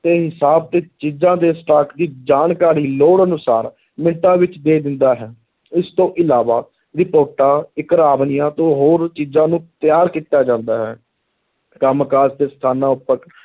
ਦੇ ਹਿਸਾਬ ਤੇ ਚੀਜ਼ਾਂ ਦੇ stock ਦੀ ਜਾਣਕਾਰੀ ਲੋੜ ਅਨੁਸਾਰ ਮਿੰਟਾਂ ਵਿੱਚ ਦੇ ਦਿੰਦਾ ਹੈ, ਇਸ ਤੋਂ ਇਲਾਵਾ ਰਿਪੋਰਟਾਂ ਤੋਂ ਹੋਰ ਚੀਜ਼ਾਂ ਨੂੰ ਤਿਆਰ ਕੀਤਾ ਜਾਂਦਾ ਹੈ, ਕੰਮ ਕਾਰ ਦੇ ਸਥਾਨਾਂ ਉੱਪਰ